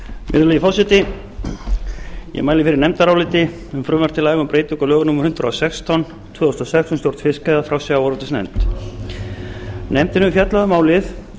virðulegi forseti ég mæli fyrir nefndaráliti um frumvarp til laga um breytingu á lögum númer hundrað og sextán tvö þúsund og sex um stjórn fiskveiða frá sjávarútvegsnefnd nefndin hefur fjallað um málið og